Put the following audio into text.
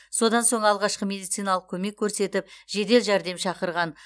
содан соң алғашқы медициналық көмек көрсетіп жедел жәрдем шақырған